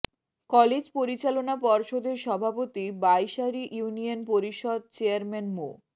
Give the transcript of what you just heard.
college পরিচালনা পর্ষদের সভাপতি বাইশারী ইউনিয়ন পরিষদ চেয়ারম্যান মো